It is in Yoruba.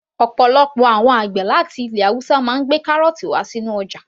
Ọ̀pọ̀lọpọ̀ àwọn àgbẹ̀ láti ilẹ̀ haúsá máa ń gbé kárọ̀ọ̀tì wá sí ọjà